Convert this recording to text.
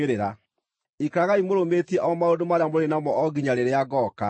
Ikaragai mũrũmĩtie O maũndũ marĩa mũrĩ namo o nginya rĩrĩa ngooka.